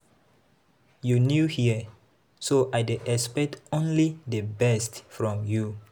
You new here so I dey expect only the best from you.